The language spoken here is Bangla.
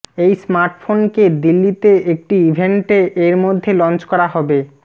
এই স্মার্টফোন কে দিল্লি তে একটি ইভেন্টে এর মধ্যে লঞ্চ করা হবে